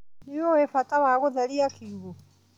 Nĩũĩ bata wa gũtheria kiugũ.